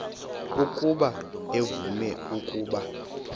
ukuba uvume ukuba